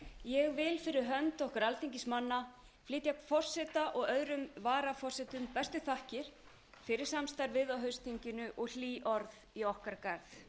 ég vil fyrir hönd okkar alþingismanna flytja forseta og öðrum varaforsetum bestu þakkir fyrir samstarfið á haustþinginu og hlý orð í okkar garð